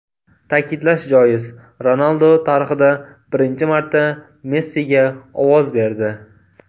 Ta’kidlash joiz, Ronaldu tarixda birinchi marta Messiga ovoz berdi.